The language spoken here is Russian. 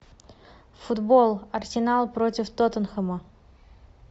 футбол арсенал против тоттенхэма